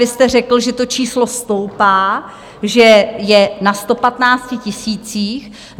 Vy jste řekl, že to číslo stoupá, že je na 115 tisících.